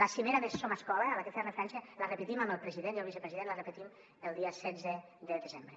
la cimera de somescola a la que feia referència la repetim amb el president i el vicepresident el dia setze de desembre